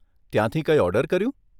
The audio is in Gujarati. ત્યાંથી કંઈ ઓર્ડર કર્યું?